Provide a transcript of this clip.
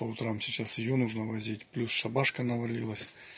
по утрам сейчас её нужно возить плюс шабашка навалилась